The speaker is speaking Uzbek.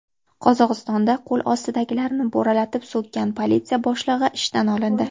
Qozog‘istonda qo‘l ostidagilarni bo‘ralatib so‘kkan politsiya boshlig‘i ishdan olindi.